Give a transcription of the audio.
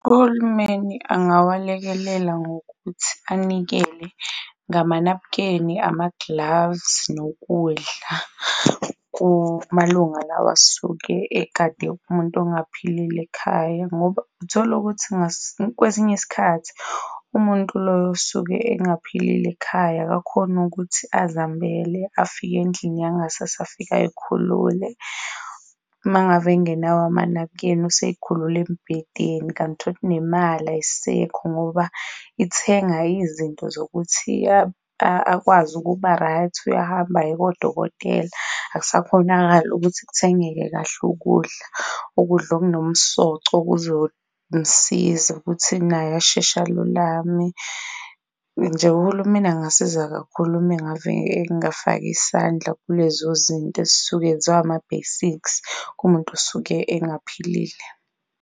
Uhulumeni angawalekelela ngokuthi anikele ngamanabukeni, ama-gloves, nokudla kumalunga lawa asuke egade umuntu ongaphilile ekhaya, ngoba utholukuthi kwesinye isikhathi umuntu loyo osuke engaphilile ekhaya akakhoni ukuthi azambhele afike endlini yangasese, afika ayikhulule. Uma ngabe engenawo amanabukeni, useyikhulula embhedeni kanti nemali ayisekho ngoba ithenga izinto zokuthi akwazi ukuba-right. Uyahamba aye kodokotela akusakhonakali ukuthi kuthengeke kahle ukudla, ukudla okunomsoco okuzo msiza ukuthi naye asheshe alulame. Nje uhulumeni angasiza kakhulu uma ngave engafaka isandla kulezozinto ezisuke zama-basics kumuntu osuke engaphilile.